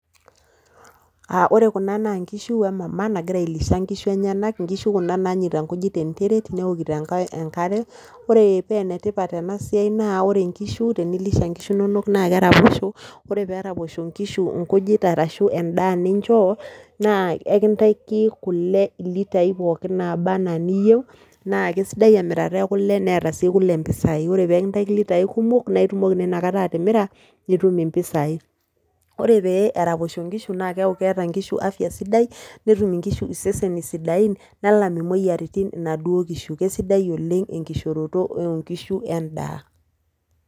Wore kuna naa inkishu wee mama nagira ailisha inkishu enyenak, inkishu kuna naanyaita inkujit tenteret newokito enkare. Wore pee enetipat enasiai naa wore inkishu tenilisha inkishu inonok naa keraposho, wore pee eraposho inkishu inkujit arashu endaa ninjoo naa ekintaiki kule ii litai pookin naba enaa niyeu naa kisidai emirata ekule neeta sii kule impisai, wore peekintaki ilitai kumok naa itumoki naa inakataa atimira nitum impisai. Wore peyie eraposho inkishu naa keaku keeta inkishu afya sidai, netum inkishu iseseni sidain nelam imoyiaritin inaduo kishu kisidai oleng enkishooroto oo inkishu endaa.